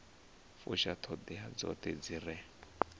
fusha ṱhoḓea dzoṱhe dzi re